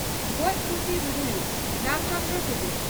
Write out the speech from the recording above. ᱜᱚᱡ ᱯᱩᱥᱤ ᱨᱩᱨᱩᱭᱩᱫ (ᱨᱟᱢ ᱪᱚᱸᱱᱫᱨᱚ ᱴᱩᱰᱩ)